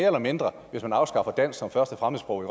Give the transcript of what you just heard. eller mindre hvis man afskaffer dansk som første fremmedsprog